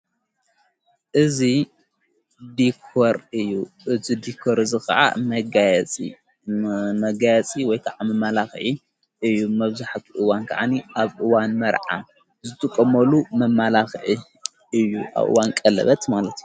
እዙ ዲኮር እዩ እቲ ዲኮር ዝ ኸዓ መጋያጺመጋያጺ ወይከዓ መማላኽዒ እዩ መብዙሕቲ እዋን ከዓኒ ኣብእዋን መርዓ ዘትቆመሉ መማላኽዒ እዩ ኣብኡዋንቀለበት ማለት እዩ።